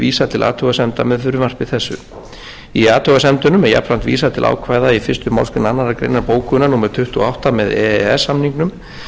vísa til athugasemda með frumvarpi þessu í athugasemdunum er jafnframt vísað til ákvæða í fyrstu málsgrein annarrar greinar bókunar númer tuttugu og átta með e e s samningnum